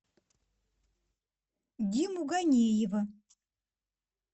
диму ганеева